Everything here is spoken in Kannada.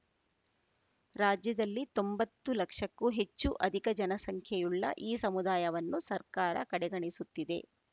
ರಾಜ್ಯದಲ್ಲಿ ತೊಂಭತ್ತು ಲಕ್ಷಕ್ಕೂ ಹೆಚ್ಚು ಅಧಿಕ ಜನಸಂಖ್ಯೆಯುಳ್ಳ ಈ ಸಮುದಾಯವನ್ನು ಸರ್ಕಾರ ಕಡೆಗಣಿಸುತ್ತಿದೆ